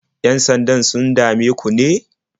Yan-sandan sun dame ku ne?